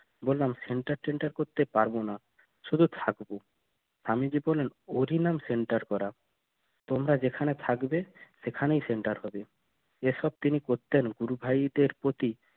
বললাম center টেন্টার করতে পারবো না শুধু থাকবো স্বামীজি বলেন অধিনাম center করা তোমরা যেখানে থাকবে সেখানে সেন্টার হবে এসব তিনি করতেন গুরু ভাইদের প্রতি